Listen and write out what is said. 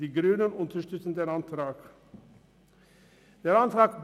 Die Grünen unterstützen den Antrag der Kommissionsminderheit.